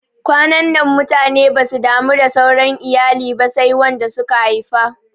Kwanannan mutane basu damu da sauran iyali ba sai wanda suka haifa